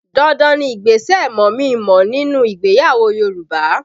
Dandan ni ìgbésẹ̀ mọ̀mí-n-mọ̀ọ́ nínú ìgbéyàwó Yoruba